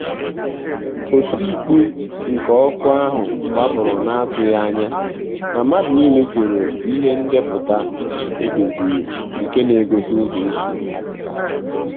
òtímkpù nké ókù áhụ́ gbụ́pụ́rụ̀ nà-àtụ́ghị́ ányà mà mmàdụ̀ nìlé sòrò ìhè ndépụ̀tà èdòzìrì nké n’égósí ụ́zọ́ ésí àpụ́tà.